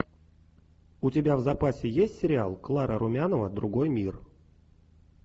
у тебя в запасе есть сериал клара румянова другой мир